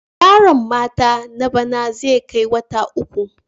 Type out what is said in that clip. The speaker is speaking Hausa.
Gyaran mata na bana zai kai wata uku.